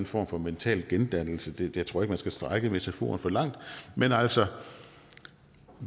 form for mental gendannelse jeg tror ikke man skal strække metaforen for langt men altså